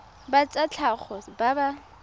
ba tsa tlhago ba ba